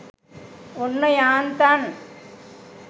ඔන්න යාන්තන්